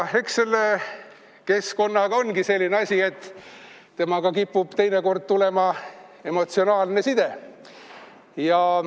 Eks keskkonnaga ongi nii, et temaga kipub teinekord tekkima emotsionaalne side.